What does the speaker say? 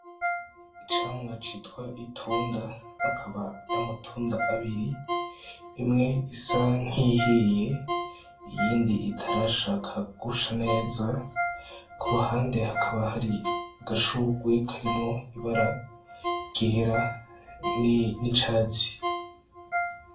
Icamwa citwa itunda akaba ar’amatunda abiri, imwe isa nk’iyihiye iyindi itarashaka gusha neza , ku ruhande hakaba hari agashurwe karimwo ibara ryera n’icatsi.